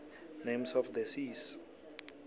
names of the seas